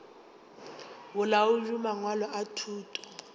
bolaodi bja mangwalo a thuto